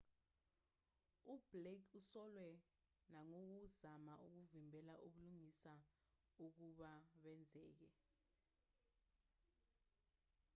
ublake usolwe nangokuzama ukuvimbela ubulungisa ukuba benzeke